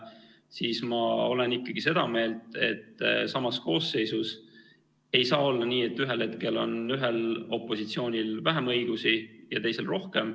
Seetõttu ma olen ikkagi seda meelt, et samas koosseisus ei saa olla nii, et ühel hetkel on ühel opositsioonil vähem õigusi ja teisel rohkem.